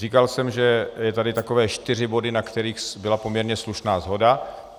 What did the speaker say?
Říkal jsem, že jsou tady takové čtyři body, na kterých byla poměrně slušná shoda.